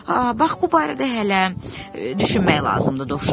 Aha, bax bu barədə hələ düşünmək lazımdır, Dovşan dedi.